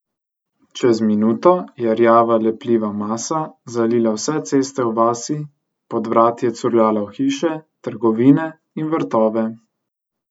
Čez minuto je rjava lepljiva masa zalila vse ceste v vasi, pod vrati je curljala v hiše, trgovine in vrtove.